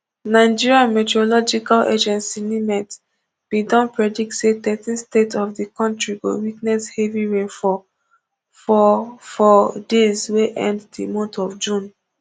nigerian meteorological agency nimet bin don predict say thirteen states of di kontri go witness heavy rainfall for for days wey end di month of june